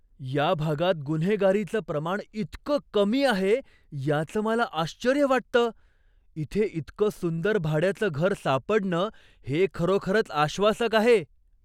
या भागात गुन्हेगारीचं प्रमाण इतकं कमी आहे याचं मला आश्चर्य वाटतं! इथे इतकं सुंदर भाड्याचं घर सापडणं हे खरोखरच आश्वासक आहे.